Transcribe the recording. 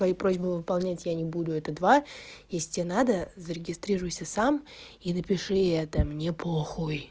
твою просьба выполнять я не буду это два если тебе надо зарегистрируйся сам и напиши это мне похуй